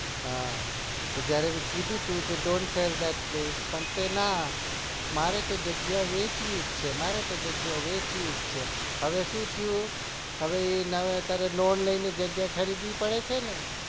હા જયારે મી કીધું ત્યારે ડોન્ટ selce by play કે ના મારે તો જગ્યા વેચ્વી જ છે મારે તો જગ્યા વેચવી જ છે અરે માંથી કરવું હવે શું થયું હવે ના એ હવે loan લઈને જગ્યા ખરીદવી પડે છે ને